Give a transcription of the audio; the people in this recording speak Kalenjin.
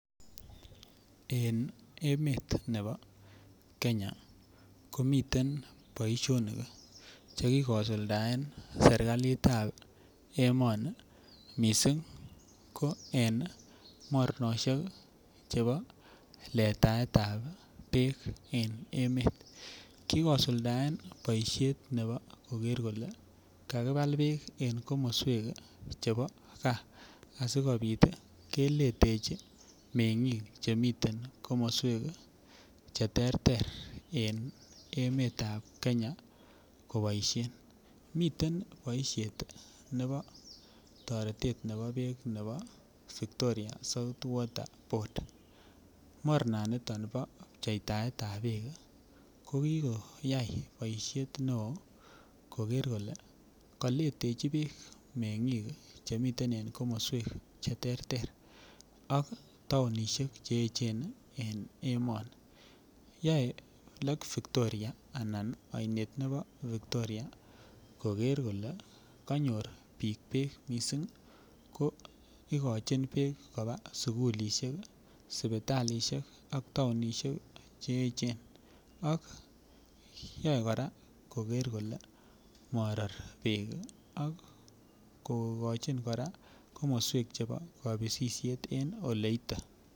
En emet ne bo kenya komiten boisionik cheki kosuldaen serikalitab emoni missing ko en mornosiek che bo letaetab beek en emet kikosulden boisiet ne bo koker kole kakibal beek en komoswek chebo gaa asikobit keletechi meng'ik chemiten komoswek cheterter en emetab kenya koboisien, miten boisiet ne bo toretet ne bo beek ne bo Vitoria South Water Board mornaniton ni bo pcheitaetab beek ko kikoyai boisiet neo koker kole kaletechi beek meng'ik chemiten en komoswek cheterter ak taonishek che echen en emoni yoe Lake Victoria anan ainet ne bo Victoria koker kole kanyor biik beek missing ko ikochin beek kopaa sugulisiek, sipitalisiek ak taonishek che echen ak yae kora koker kole moror beek ii ako kokochin kora komoswek chebo kobisisiet en oleite.